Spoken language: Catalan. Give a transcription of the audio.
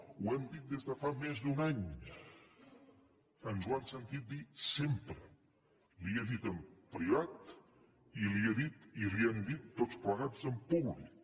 ho hem dit des de fa més d’un any ens ho han sentit dir sempre li ho he dit en privat i li ho hem dit tots plegats en públic